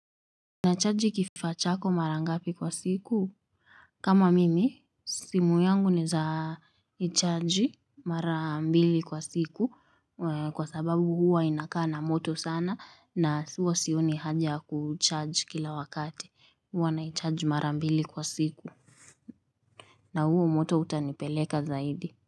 Nachaji kifaa chako marangapi kwa siku? Kama mimi, simu yangu naeza ichaji mara mbili kwa siku kwa sababu huwa inakaa na moto sana na huwa sioni haja ya kucharge kila wakati. Huwa naicharge mara mbili kwa siku. Na huo moto utanipeleka zaidi.